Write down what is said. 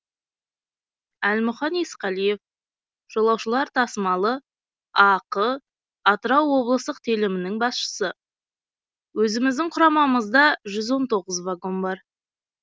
әлмұқан есқалиев жолаушылар тасымалы ақ атырау облыстық телімінің басшысы өзіміздің құрамамызда жүз он тоғыз вагон бар